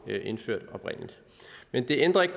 blev indført men det ændrer ikke